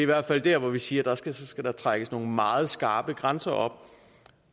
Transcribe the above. i hvert fald der hvor vi siger at der skal trækkes nogle meget skarpe grænser